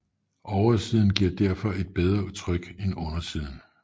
Oversiden giver derfor et bedre tryk en undersiden